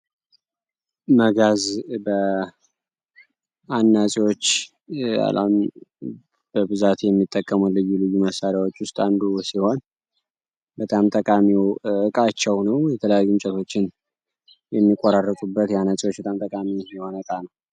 መጋዝ በአናጺወች በብዛት ት የሚጠቀሙት መሳሪያወች ዉስጥ አንዱ ልዩ ልዩ ሲሆን በጣም ጠቃሚ እቃቸዉ ነዉ የተለያዩ እንጨቶችን የሚቆራርጡበት የአናጺወች በጣም ጠቃሚ የሆነ እቃ ነዉ።